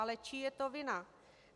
Ale čí je to vina?